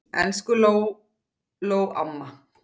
Elsku Lóló amma.